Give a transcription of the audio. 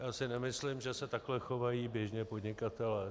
Já si nemyslím, že se takhle chovají běžně podnikatelé.